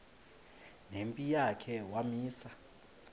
nempi yakhe wamisa